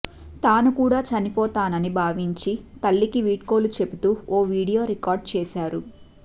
తాను కూడా చనిపోతానని భావించి తల్లికి వీడ్కోలు చెబుతూ ఓ వీడియో రికార్డు చేశారు